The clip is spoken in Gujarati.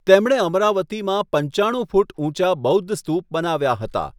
તેમણે અમરાવતીમાં પંચાણું ફૂટ ઊંચા બૌદ્ધ સ્તૂપ બનાવ્યા હતા.